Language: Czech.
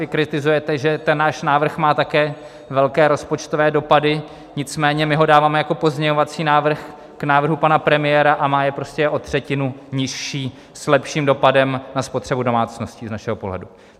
Vy kritizujete, že ten náš návrh má také velké rozpočtové dopady, nicméně my ho dáváme jako pozměňovací návrh k návrhu pana premiéra a má je prostě o třetinu nižší s lepším dopadem na spotřebu domácnosti z našeho pohledu.